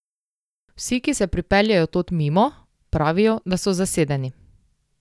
Vsi, ki se pripeljejo tod mimo, pravijo, da so zasedeni.